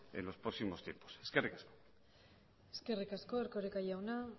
en los próximos tiempos eskerrik asko eskerrik asko erkoreka jauna